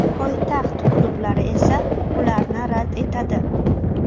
Poytaxt klublari esa ularni rad etadi.